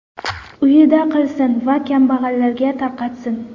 Uyida qilsin va kambag‘allarga tarqatsin.